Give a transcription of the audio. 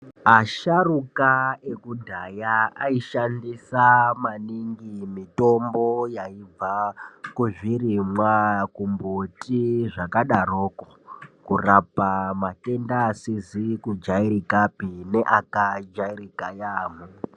Asharuka ekudhaya aishandisa maningi mitombo yaibva kuzvirimwa, kumbuti zvakadaroko kurapa matenda asizi kujairikapi neakajairika yaamho.